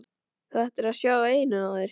Þú ættir að sjá eyrun á þér!